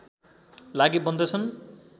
लागि बन्दछन्